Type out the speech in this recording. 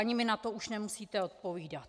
Ani mi na to už nemusíte odpovídat.